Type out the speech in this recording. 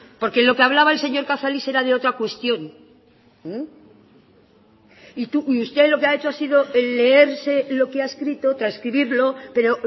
porque lo que habla el señor cazalis era de otra cuestión y usted lo que ha hecho ha sido leerse lo que ha escrito transcribirlo pero